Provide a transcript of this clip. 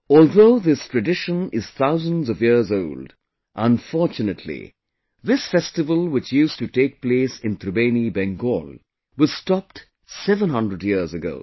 Although this tradition is thousands of years old, but unfortunately this festival which used to take place in Tribeni, Bengal was stopped 700 years ago